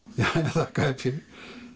þakka þér fyrir